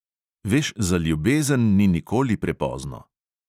Veš, za ljubezen ni nikoli prepozno.